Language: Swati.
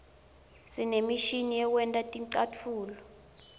sinemishini yekwenta ticatfulo